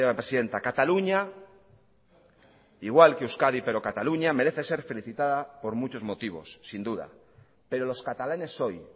presidenta cataluña igual que euskadi pero cataluña merece ser felicitada por muchos motivos sin duda pero los catalanes hoy